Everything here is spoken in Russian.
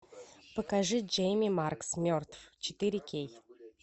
покажи джейми маркс мертв четыре кей